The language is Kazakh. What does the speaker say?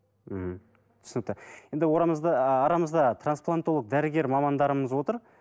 мхм түсінікті енді арамызда трансплантолог дәрігер мамандарымыз отыр